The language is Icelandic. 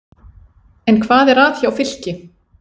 En hvað er að hjá Fylki?